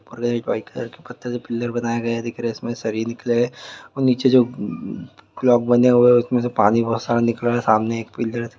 पत्थर से पिल्लर बनाया गया है दिख रहैं है इसमें से सलिये निकले हैं और निचे जो उमम ब्लॉक बने हुए हैं उसमे से पानी बहोत सारा निकल रहा हैं। सामने एक पिल्लर